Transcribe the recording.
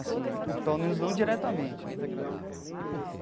Assim, pelo menos não diretamente né.